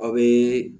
Aw bɛ